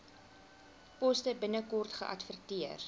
poste binnekort geadverteer